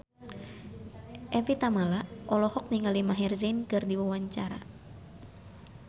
Evie Tamala olohok ningali Maher Zein keur diwawancara